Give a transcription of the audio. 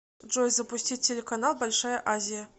джой запустить телеканал большая азия